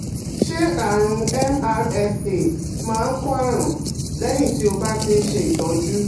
Ṣé àrùn MRSA máa ń kó àrùn lẹ́yìn tí o bá ti ń ṣe ìtọ́jú?